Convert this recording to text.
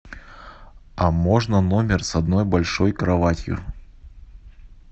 а можно номер с одной большой кроватью